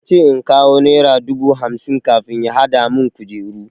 Yace in kawo nera dubu hamsin kafin ya hadamun kujeru.